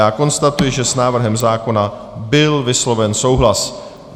Já konstatuji, že s návrhem zákona byl vysloven souhlas.